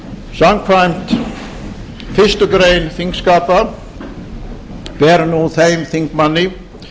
samkvæmt fyrstu grein þingskapa ber nú þeim þingmanni